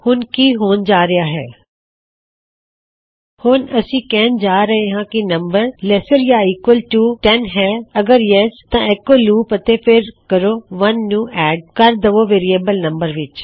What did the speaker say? ਹੁਣ ਕੀ ਹੋਣ ਜਾ ਰਿਹਾ ਹੈ ਹੁਣ ਅਸੀਂ ਕਿਹਣ ਜਾ ਰਹੇ ਹਾਂ ਕੀ ਨਮ ਲੈਸਰ ਯਾ ਈਕਵਲ ਟੂ 10 ਹੈ ਅਗਰ ਹਾਂ ਤਾਂ ਐੱਕੋ ਲੂਪ ਅਤੇ ਫਿਰ ਕਹੋ 1 ਨੂੰ ਐੱਡ ਕਰ ਦਵੋ ਵੇਅਰਿਏਬਲ ਨਮ ਵਿੱਚ